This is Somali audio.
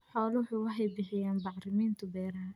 Xooluhu waxay bixiyaan bacriminta beeraha.